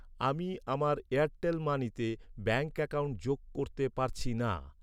আমি আমার এয়ারটেল মানিতে ব্যাঙ্ক অ্যাকাউন্ট যোগ করতে পারছি না।